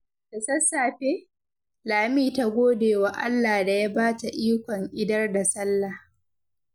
Da sassafe, Lami ta gode wa Allah da ya ba ta ikon idar da sallah.